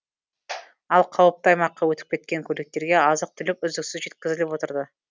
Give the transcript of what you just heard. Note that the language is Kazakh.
ал қауіпті аймаққа өтіп кеткен көліктерге азық түлік үздіксіз жеткізіліп отырды